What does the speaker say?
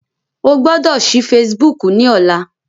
O gbọ́dọ̀ sí Facebook ní ọlá.